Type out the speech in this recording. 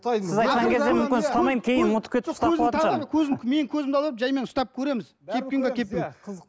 менің көзімді ала беріп жаймен ұстап көреміз кепкен бе